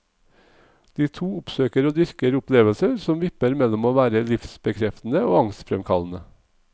De to oppsøker og dyrker opplevelser som vipper mellom å være livsbekreftende og angstfremkallende.